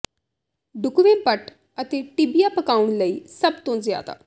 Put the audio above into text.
ਢੁਕਵੇਂ ਪੱਟ ਅਤੇ ਟਿੱਬੀਆ ਪਕਾਉਣ ਲਈ ਸਭ ਤੋਂ ਜ਼ਿਆਦਾ